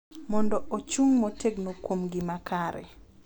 Mondo ochung’ motegno kuom gima kare